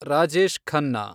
Rajesh Khanna